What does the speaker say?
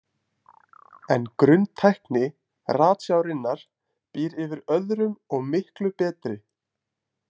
En grunntækni ratsjárinnar býr yfir öðrum og miklu betri.